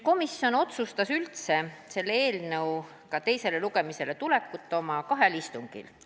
Komisjon otsustas selle eelnõu teisele lugemisele tuleku kahel istungil.